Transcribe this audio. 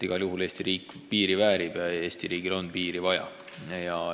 Igal juhul Eesti riigil on piiri vaja ja Eesti riik väärib korralikku piiri.